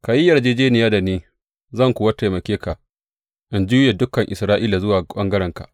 Ka yi yarjejjeniya da ni, zan kuwa taimake ka, in juye dukan Isra’ila zuwa ɓangarenka.